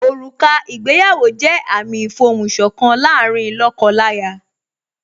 Òrùka ìgbéyàwó jẹ́ àmìn ìfohùn sọ̀kan láàárín lóko láya